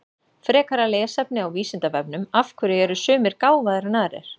Frekara lesefni á Vísindavefnum Af hverju eru sumir gáfaðri en aðrir?